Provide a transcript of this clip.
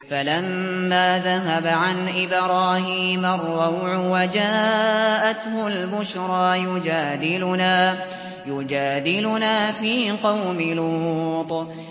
فَلَمَّا ذَهَبَ عَنْ إِبْرَاهِيمَ الرَّوْعُ وَجَاءَتْهُ الْبُشْرَىٰ يُجَادِلُنَا فِي قَوْمِ لُوطٍ